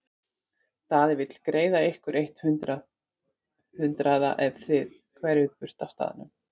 Daði vill greiða ykkur eitt hundrað hundraða ef þið hverfið burt af staðnum.